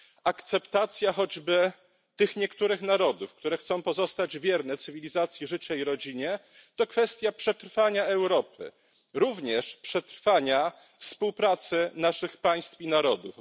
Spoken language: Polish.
Akceptacja choćby tych niektórych narodów, które chcą pozostać wierne cywilizacji życia i rodzinie, to kwestia przetrwania Europy, również przetrwania współpracy naszych państw i narodów.